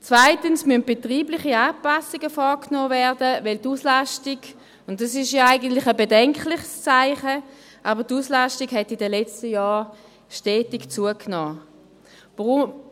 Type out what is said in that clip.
Zweitens müssen betriebliche Anpassungen vorgenommen werden, weil die Auslastung – und das ist ja eigentlich ein bedenkliches Zeichen – in den letzten Jahren stetig zugenommen hat.